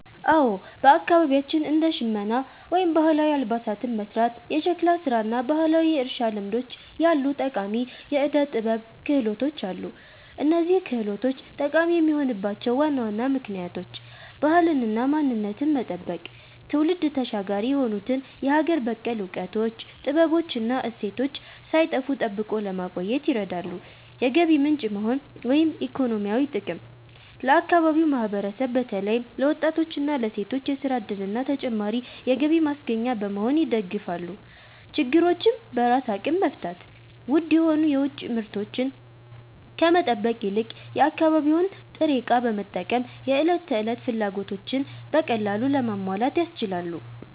አዎ፣ በአካባቢያችን እንደ ሸመና (ባህላዊ አልባሳትን መሥራት)፣ የሸክላ ሥራ እና ባህላዊ የእርሻ ልምዶች ያሉ ጠቃሚ የዕደ-ጥበብ ክህሎቶች አሉ። እነዚህ ክህሎቶች ጠቃሚ የሆኑባቸው ዋና ዋና ምክንያቶች፦ ባህልንና ማንነትን መጠበቅ፦ ትውልድ ተሻጋሪ የሆኑትን የሀገር በቀል እውቀቶች፣ ጥበቦች እና እሴቶች ሳይጠፉ ጠብቆ ለማቆየት ይረዳሉ። የገቢ ምንጭ መሆን (ኢኮኖሚያዊ ጥቅም)፦ ለአካባቢው ማህበረሰብ በተለይም ለወጣቶችና ለሴቶች የሥራ ዕድልና ተጨማሪ የገቢ ማስገኛ በመሆን ይደግፋሉ። ችግሮችን በራስ አቅም መፍታት፦ ውድ የሆኑ የውጭ ምርቶችን ከመጠበቅ ይልቅ የአካባቢውን ጥሬ ዕቃ በመጠቀም የዕለት ተዕለት ፍላጎቶችን በቀላሉ ለማሟላት ያስችላሉ።